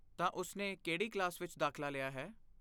ਤਾਂ, ਉਸਨੇ ਕਿਹੜੀ ਕਲਾਸ ਵਿੱਚ ਦਾਖਲਾ ਲਿਆ ਹੈ?